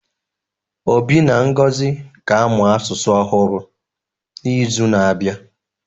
Obi na Ngozi ga-amụ asụsụ ọhụrụ n'izu na-abịa